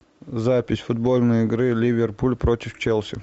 запись футбольной игры ливерпуль против челси